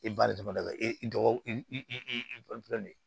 I baara dama e dɔgɔ i de ye